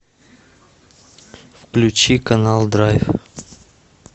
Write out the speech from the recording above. включи канал драйв